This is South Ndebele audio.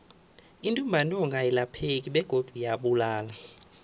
intumbantonga ayilapheki begodu iyabulala